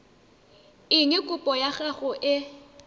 eng kopo ya gago e